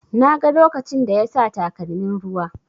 Na ga lokacin da yasa takalmin ruwa.